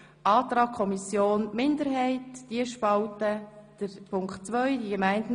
Aber ich schlage vor, dass wir erst einmal bei Artikel 11 bleiben.